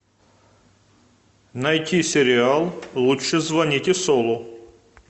найти сериал лучше звоните солу